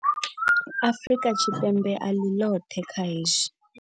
Afrika Tshipembe a ḽi ḽoṱhe kha hezwi.